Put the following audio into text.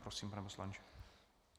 Prosím, pane poslanče.